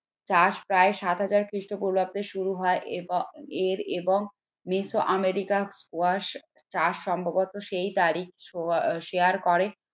চাষ প্রায় সাত হাজার খ্রিস্টপূর্বাব্দের শুরু হয় এবং এর এবং আমেরিকা চাষ সম্ভবত সেই তারিখ সো share করে।